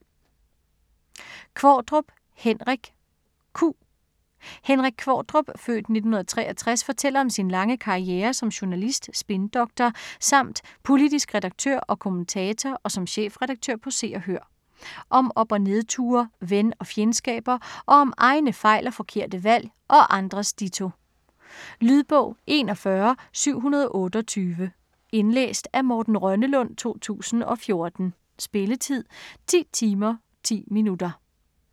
Qvortrup, Henrik: Q Henrik Qvortrup (f. 1963) fortæller om sin lange karriere som journalist, spindoktor samt politisk redaktør og kommentator og som chefredaktør på Se og Hør. Om op- og nedture, ven- og fjendskaber, og om egne fejl og forkerte valg - og andres ditto. Lydbog 41728 Indlæst af Morten Rønnelund, 2014. Spilletid: 10 timer, 10 minutter.